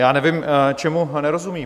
Já nevím, čemu nerozumí.